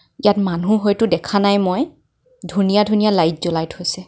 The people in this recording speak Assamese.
ইয়াত মানুহ হয়টো দেখা নাই মই ধুনীয়া ধুনীয়া লাইট জ্বলাই থৈছে।